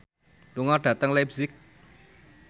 lunga dhateng leipzig